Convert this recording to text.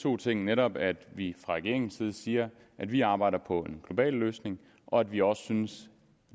to ting netop at vi fra regeringens side siger at vi arbejder på en global løsning og at vi også synes